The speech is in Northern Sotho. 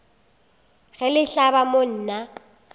ge le hlaba mo nna